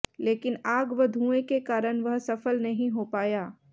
लेकिन आग व धुएं के कारण वह सफल नहीं हो पाया